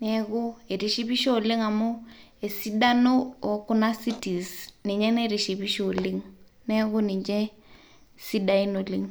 naaku eitishipisho oleng' amuu esidano ookuna cities ninye naitishipisho oleng',neaku ninche sidain oleng'.